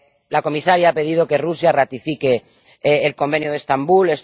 La comisaria ha pedido que Rusia ratifique el Convenio de Estambul.